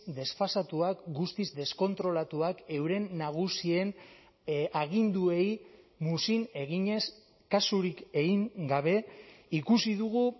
desfasatuak guztiz deskontrolatuak euren nagusien aginduei muzin eginez kasurik egin gabe ikusi dugu